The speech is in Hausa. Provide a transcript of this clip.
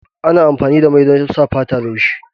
Ana amfani da mai don sa fata laushi.